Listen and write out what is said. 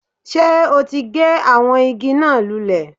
Sé o ti gé àwọn igi náà lulè?